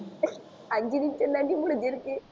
அஞ்சு நிமிஷந்தான்டி முடிஞ்சுருக்கு